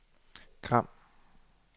Gram